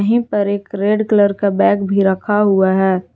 यही पर एक रेड कलर का बैग भी रखा हुआ है।